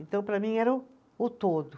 Então, para mim, era o, o todo.